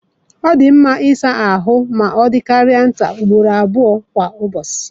Ọ dị mma ịsa ahụ ma ọ dịkarịa ugboro abụọ kwa ụbọchị.